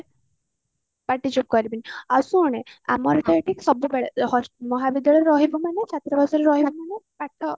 ପାଟି ଚୁପ କରିବି ଆଉ ଶୁଣେ ଆମର କହିବେ ସବୁବେଳେ ମହାବିଦ୍ୟାଳୟରେ ରହିବୁ ମାନେ ଛାତ୍ରାବାସରେ ରହିବୁ ମାନେ ପାଠ